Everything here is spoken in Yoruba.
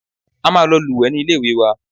A máa lọ lúwẹ̀ẹ́ ní ilé ìwé wa.